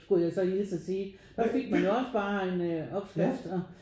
Skulle jeg så hilse og sige. Der fik man jo også bare en opskrift og